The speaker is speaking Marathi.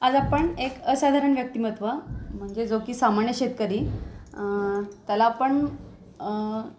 आज आपण एक असाधारण व्यक्तिमत्त्व म्हणजे जो की सामान्य शेतकरी अ त्याला आपण अ